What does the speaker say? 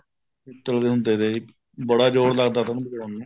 ਪਿੱਤਲ ਦੇ ਹੁੰਦੇ ਤੇ ਬੜਾ ਜ਼ੋਰ ਲੱਗਦਾ ਤਾ ਉਨ੍ਹਾਂ ਨੂੰ ਵਜਾਉਣ ਨੂੰ